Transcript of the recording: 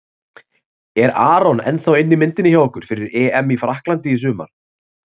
Er Aron ennþá inn í myndinni hjá ykkur fyrir EM í Frakklandi í sumar?